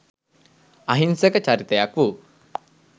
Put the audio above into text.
අහිංසක චරිතයක් වූ